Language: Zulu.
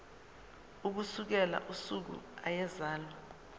ukusukela usuku eyazalwa